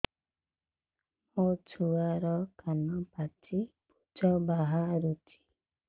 ମୋ ଛୁଆର କାନ ପାଚି ପୁଜ ବାହାରୁଛି